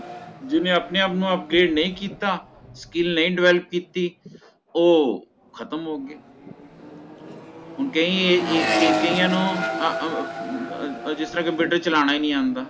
ਜੀਨੇ ਆਪਣੇ ਆਪ ਨੂ update ਨਹੀ ਕੀਤਾ skill ਨਹੀ Develop ਕੀਤੀ ਓਹ ਖਤਮ ਹੋ ਗਿਆ ਹੁਣ ਕਈ ਏ ਏ ਏ ਕਈਆਂ ਨੂੰ ਆਹ ਆਹ ਅੱਜ ਦਾ computer ਚਲਾਣਾ ਹੀ ਨਹੀਂ ਆਉਂਦਾ